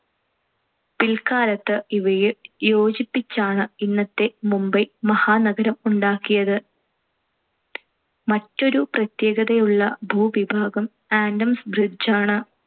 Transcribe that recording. പിൽക്കാലത്ത് ഇവയെ യോജിപ്പിച്ചാണ്‌ ഇന്നത്തെ മുംബൈ മഹാനഗരം ഉണ്ടാക്കിയത്. മറ്റൊരു പ്രത്യേകതയുള്ള ഭൂവിഭാഗം adam's bridge ആണ്.